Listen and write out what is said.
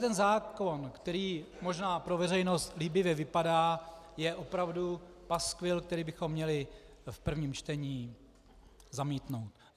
Tento zákon, který možná pro veřejnost líbivě vypadá, je opravdu paskvil, který bychom měli v prvém čtení zamítnout.